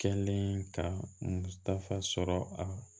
Kɛlen ka fa sɔrɔ a la